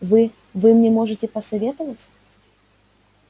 вы вы мне можете посоветовать